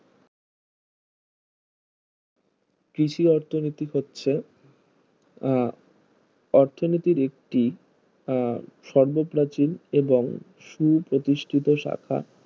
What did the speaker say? কৃষি অর্থনীতি হচ্ছে আহ অর্থনীতির একটি আহ শব্ধ প্রাচীন এবং সুপ্রতিষ্ঠিত শাখা